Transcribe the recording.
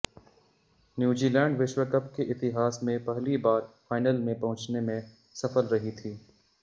New Zealand विश्व cup के इतिहास में पहली बार फाइनल में पहुंचने में सफल रही थी